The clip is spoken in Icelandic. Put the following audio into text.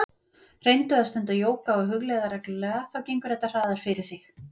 Reyndu að stunda jóga og hugleiða reglulega, þá gengur þetta hraðar fyrir sig.